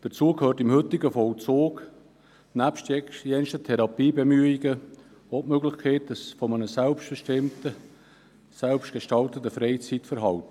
Dazu gehört im heutigen Vollzug neben verschiedenen Therapiebemühungen auch die Möglichkeit eines selbstbestimmten, selbstgestalteten Freizeitverhaltens.